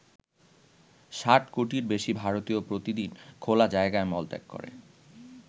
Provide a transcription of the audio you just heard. ষাট কোটির বেশি ভারতীয় প্রতিদিন খোলা জায়গায় মলত্যাগ করে।